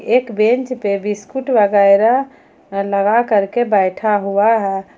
एक बेंच पे बिस्किट वगैरह लगा कर के बैठा हुआ है।